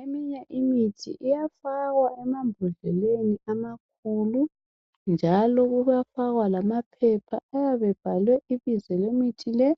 Eminye imithi iyafakwa emambodleleni amakhulu njalo kuyafakwa lamaphepha ayabe ebhalwe ibizo lemithi le,